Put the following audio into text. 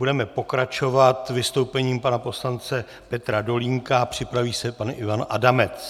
Budeme pokračovat vystoupením pana poslance Petra Dolínka, připraví se pan Ivan Adamec.